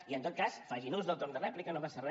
i en tot cas facin ús del torn de rèplica no passa re